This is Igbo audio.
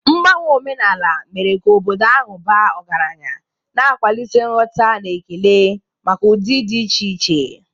Mgbanwe omenala mere ka obodo ahụ baa ọgaranya, na-akwalite nghọta na ekele maka ụdị dị iche iche.